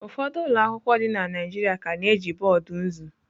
Ụfọdụ ụlọ akwụkwọ dị na Naịjirịa ka na-eji boọdụ nzu.